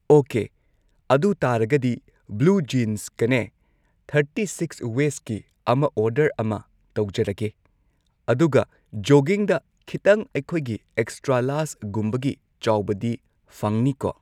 okay ꯑꯗꯨ ꯇꯥꯔꯒꯗꯤ blue ꯖꯤꯟꯁꯀꯅꯦ ꯊꯔꯇꯤ ꯁꯤꯛꯁ ꯋꯦꯁꯀꯤ ꯑꯃ ꯑꯣꯔꯗꯔ ꯑꯃ ꯇꯧꯖꯔꯒꯦ ꯑꯗꯨꯒ ꯖꯣꯒꯤꯡꯗ ꯈꯤꯇꯪ ꯑꯩꯈꯣꯏꯒꯤ ꯑꯦꯛꯁꯇ꯭ꯔꯥ ꯂꯥꯔ꯭ꯖꯒꯨꯝꯕꯒꯤ ꯆꯥꯎꯕꯗꯤ ꯐꯪꯅꯤꯀꯣ